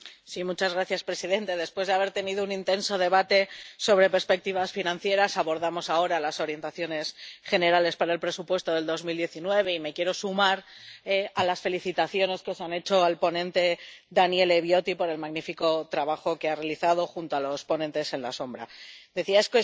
Señor presidente, después de haber tenido un intenso debate sobre perspectivas financieras, abordamos ahora las orientaciones generales para el presupuesto de 2019, y me quiero sumar a las felicitaciones que se han hecho al ponente, Daniele Viotti, por el magnífico trabajo que ha realizado junto a los ponentes alternativos.